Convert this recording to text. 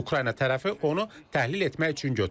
Ukrayna tərəfi onu təhlil etmək üçün götürüb.